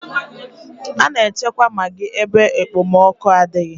A na-echekwa magị ebe ekpomọkụ adịghị.